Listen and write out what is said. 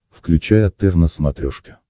включай отр на смотрешке